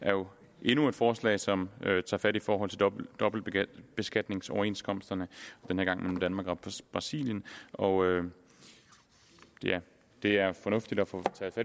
er jo endnu et forslag som tager fat i forhold til dobbeltbeskatningsoverenskomsterne den her gang mellem danmark og brasilien og det er fornuftigt at få taget